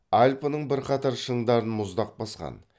альпінің бірқатар шыңдарын мұздақ басқан